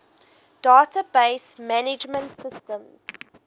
database management systems